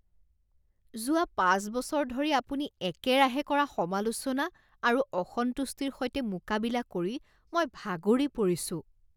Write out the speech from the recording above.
যোৱা পাঁচ বছৰ ধৰি আপুনি একেৰাহে কৰা সমালোচনা আৰু অসন্তুষ্টিৰ সৈতে মোকাবিলা কৰি মই ভাগৰি পৰিছোঁ।